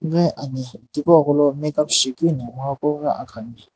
ghi ane tipuqolo Makeup shijaekeu akhani.